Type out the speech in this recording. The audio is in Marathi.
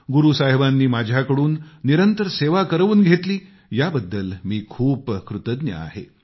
गुरू साहिबांनी माझ्याकडून निरंतर सेवा करवून घेतली याबद्दल मी खूप कृतज्ञ आहे